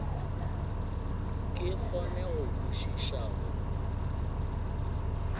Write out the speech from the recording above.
ke kgone go kwešiša go